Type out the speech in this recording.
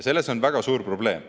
Selles on väga suur probleem.